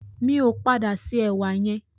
Mi ò padà se ẹ̀wà yẹn.